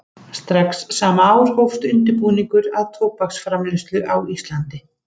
Strax sama ár hófst undirbúningur að tóbaksframleiðslu á Íslandi.